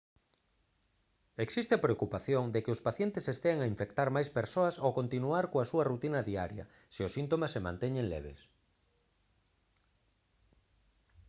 existe a preocupación de que os pacientes estean a infectar máis persoas ao continuar coa súa rutina diaria se os síntomas se manteñen leves